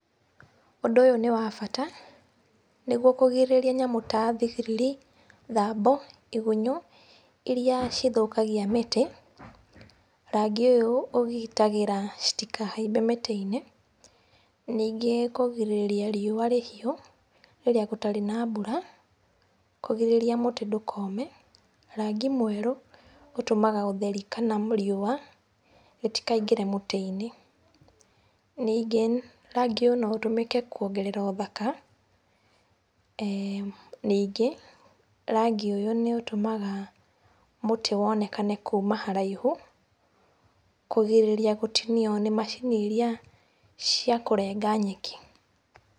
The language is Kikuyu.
ũndũ ũyũ nĩ wabata, nĩguo kũgirĩrĩria nyamũ ta thigiriri, thambo , igunyũ iria cithũkagia mĩtĩ. Rangi ũyũ ũgitagĩra citikahaimbe mĩtĩ-inĩ ningĩ kũgirĩrĩria riua rĩhiũ rĩrĩa gũtarĩ na mbura kũgirĩrĩria mũtĩ ndũkome. Rangi mwerũ ũtũmaga ũtheri kana riua rĩtikaingĩre mũtĩ-inĩ. Ningĩ rangi ũyũ no ũtũmĩke kũongerera ũthaka, ningĩ rangi ũyũ nĩ ũtũmaga mũtĩ wonekane kuma haraihu kũgirĩrĩria gũtinio nĩ macini iria cia kũrenga nyeki.